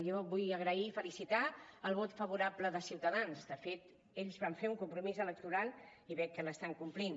jo vull agrair i felicitar el vot favorable de ciutadans de fet ells van fer un compromís electoral i veig que l’estan complint